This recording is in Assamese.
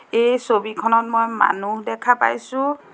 এই ছবিখনত মই মানুহ দেখা পাইছোঁ।